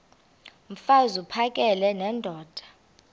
mfaz uphakele nendoda